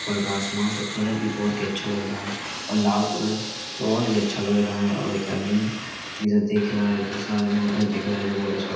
ऊपर का आसमान का कलर भी बहुत अच्छा लग रहा है और लाल कलर तो और भी अच्छा लग रहा है और एक आदमी इधर देख रहा है दूसरा आदमी उधर देख रहा है जो बहुत अच्छा--